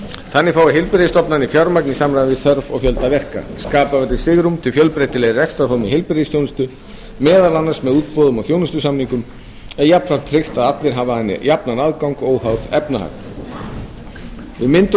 þannig fái heilbrigðisstofnanir fjármagn í samræmi við þörf og fjölda verka skapað verði svigrúm til fjölbreytilegri rekstrarforma í heilbrigðisþjónustu meðal annars með útboðum og þjónustusamningum en jafnframt tryggt að allir hafi að henni jafnan aðgang óháð efnahag við myndun